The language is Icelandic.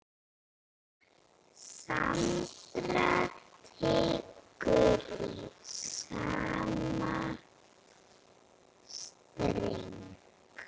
Sandra tekur í sama streng.